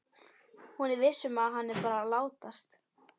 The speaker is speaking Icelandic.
Hún er viss um að hann er bara að látast.